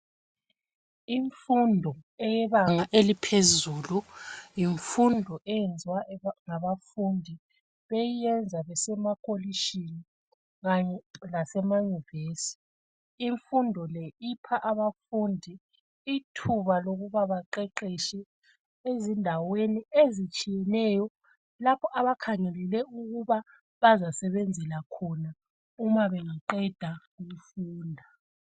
Imfundo eyebanga eliphezulu yimfundo eyenziwa ngabafundi beyenza besemakolitshini kanye lasemayunivesithi. Imfundo le ipha abafundi ithuba lokuba baqeqetshe ezindaweni ezitshiyeneyo lapho abakhangelele ukuba bazasebenzela khona uma bengaqeda ukufunda.